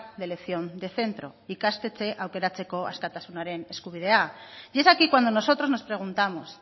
de elección de centro ikastetxe aukeratzeko askatasunaren eskubidea y es aquí cuándo nosotros nos preguntamos